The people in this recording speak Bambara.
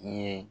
I ye